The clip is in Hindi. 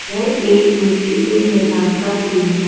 यह एक मिट्ठी के मैदान का सीन हैं।